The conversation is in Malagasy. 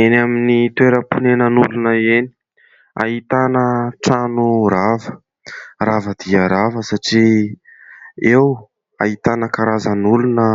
Eny amin'ny toeram-ponenan'olona eny ahitana trano rava, rava dia rava satria eo ahitana karaza'olona